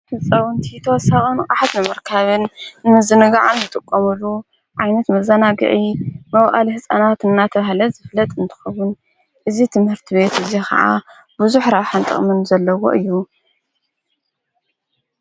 ህጸውንቲ ሳቐን ቓሕት መመርካብን እንዝነግዓን ዘጥቆሙሉ ዓይነት መዘናግዒ መውዓል ሕፃናት እናተብሃለ ዝፍለጥ እንትኸቡን እዙ ትምህርቲ ቤት እዙ ኸዓ ብዙኅ ራብሕንጠቕምን ዘለዎ እዩ።